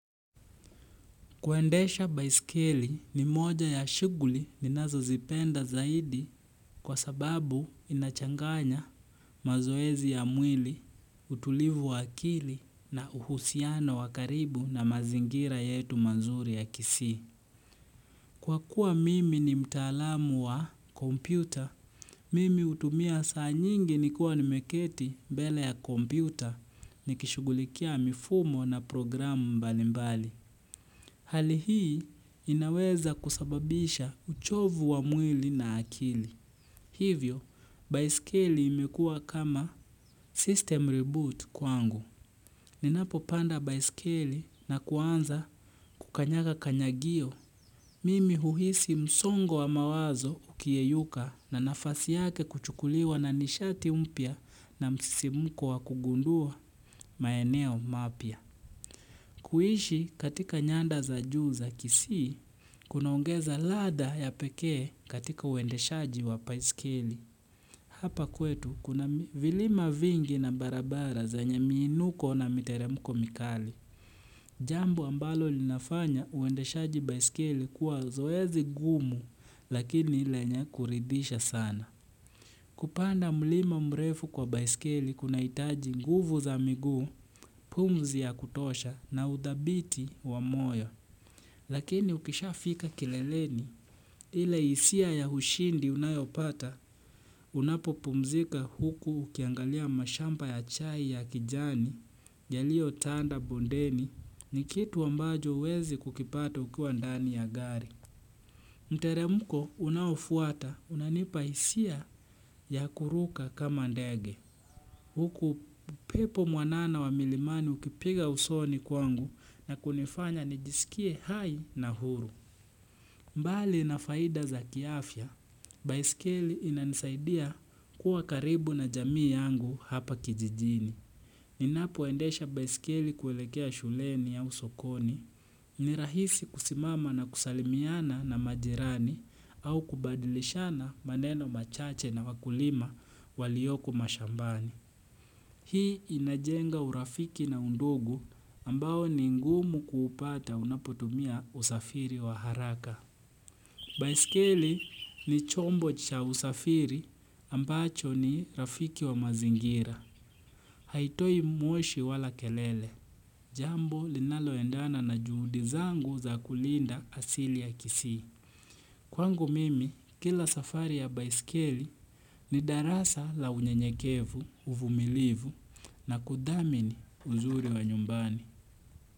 Kuendesha baiskeli ni moja ya shughuli ninazozipenda zaidi kwa sababu inachanganya mazoezi ya mwili, utulivu wa akili na uhusiano wa karibu na mazingira yetu mazuri ya kisii. Kwa kuwa mimi ni mtaalamu wa kompyuta, mimi hutumia saa nyingi nikiwa nimeketi mbele ya kompyuta nikishugulikia mifumo na programu mbalimbali. Hali hii inaweza kusababisha uchovu wa mwili na akili. Hivyo, baiskeli imekuwa kama system reboot kwangu. Ninapopanda baiskeli na kuanza kukanyaga kanyagio. Mimi huhisi msongo wa mawazo ukiyeyuka na nafasi yake kuchukuliwa na nishati mpya na msisimko wa kugundua maeneo mapya. Kuishi katika nyanda za juu za kisii, kunaongeza ladha ya pekee katika uendeshaji wa baisikeli. Hapa kwetu kuna vilima vingi na barabara zenye miinuko na miteremko mikali. Jambo ambalo linafanya uendeshaji baisikeli kuwa zoezi gumu lakini lenye kuridhisha sana. Kupanda mlima mrefu kwa baiskeli kunahitaji nguvu za miguu, pumzi ya kutosha na udhabiti wa moyo. Lakini ukishafika kileleni, ile hisia ya ushindi unayopata, unapopumzika huku ukiangalia mashamba ya chai ya kijani, yaliotanda bondeni, ni kitu ambacho huwezi kukipata ukiwa ndani ya gari. Mteremko unafuata unanipa hisia ya kuruka kama ndege. Huku pepo mwanana wa milimani ukipiga usoni kwangu na kunifanya nijisikie hai na huru. Mbali na faida za kiafya, baisikeli inanisaidia kuwa karibu na jamii yangu hapa kijijini. Ninapoendesha baisikeli kuelekea shuleni au sokoni, ni rahisi kusimama na kusalimiana na majirani au kubadilishana maneno machache na wakulima walioko mashambani. Hii inajenga urafiki na undugu ambao ni ngumu kuupata unapotumia usafiri wa haraka. Baiskeli ni chombo cha usafiri ambacho ni rafiki wa mazingira. Haitoi moshi wala kelele. Jambo linaloendana na juhudi zangu za kulinda asili ya kisii. Kwangu mimi, kila safari ya baiskeli ni darasa la unyenyekevu, uvumilivu na kudhamini uzuri wa nyumbani.